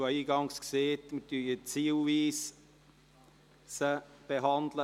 Ich habe eingangs gesagt, wir würden sie zielweise behandeln.